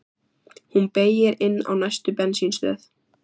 Hún beygir inn á næstu bensínstöð.